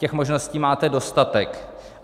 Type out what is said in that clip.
Těch možností máte dostatek.